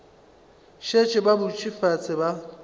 šetše ba dutše fase ba